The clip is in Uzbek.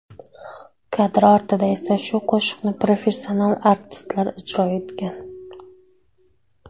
Kadr ortida esa shu qo‘shiqni professional artistlar ijro etgan.